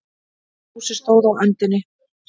Fúsi stóð á öndinni.